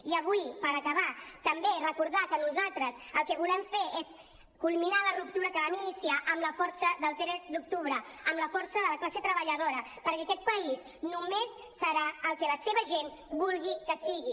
i avui per acabar també recordar que nosaltres el que volem fer és culminar la ruptura que vam iniciar amb la força del tres d’octubre amb la força de la classe treballadora perquè aquest país només serà el que la seva gent vulgui que sigui